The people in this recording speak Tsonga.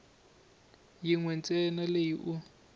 yin we ntsena leyi u